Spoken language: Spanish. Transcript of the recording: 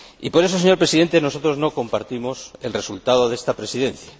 Por eso, señor Presidente, nosotros no compartimos el resultado de esta Presidencia.